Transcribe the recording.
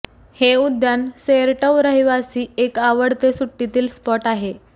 हे उद्यान सेरटव रहिवासी एक आवडते सुट्टीतील स्पॉट आहे